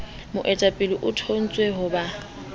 moteaphala o thontswe ho ba